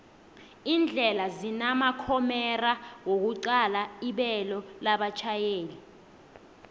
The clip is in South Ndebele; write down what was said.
indlela zinamakhomera wokuqala ibelo labatjhayeli